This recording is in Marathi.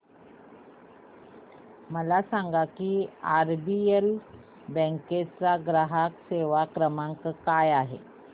मला सांगा की आरबीएल बँक मुंबई चा ग्राहक सेवा क्रमांक काय आहे